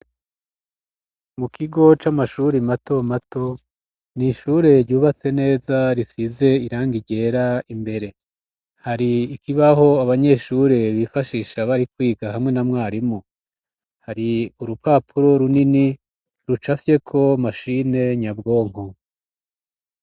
Mu kigo c'amashuri mato mato n'ishure ryubatse neza risize irangi ryera imbere, hari ikibaho abanyeshure bifashisha bari kwiga hamwe na mwarimu, hari urupapuro runini rucafyeko mashine nyabwonko.